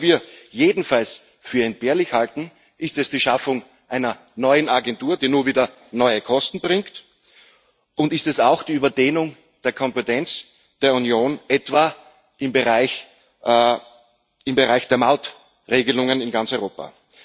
Was wir jedenfalls für entbehrlich halten ist die Schaffung einer neuen Agentur, die nur wieder neue Kosten bringt, und auch die Überdehnung der Kompetenz der Union, etwa im Bereich im Bereich der Maut Regelungen in ganz Europa.